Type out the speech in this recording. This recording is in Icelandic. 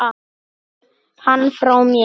Kysstu hann frá mér.